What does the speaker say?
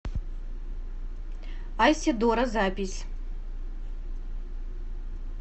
айседора запись